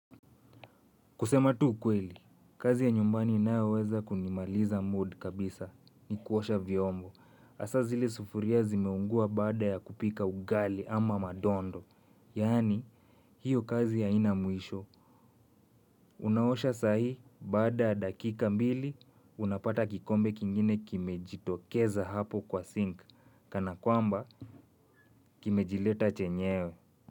Kusema tu ukweli, kazi ya nyumbani inayoweza kunimaliza mood kabisa ni kuosha vyombo. Asa zile sufuria zimeungua baada ya kupika ugali ama madondo. Yaani, hiyo kazi haina mwisho. Unaosha saa hii, baada ya dakika mbili, unapata kikombe kingine kimejitokeza hapo kwa sink. Kana kwamba, kimejileta chenyewe.